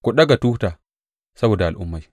Ku ɗaga tuta saboda al’ummai.